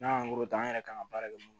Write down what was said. N'an y'an bolo ta an yɛrɛ kan ŋa baara kɛ